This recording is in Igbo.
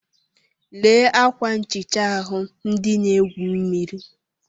Lee ákwà nchịcha ahụ ndị na-egwu mmiri.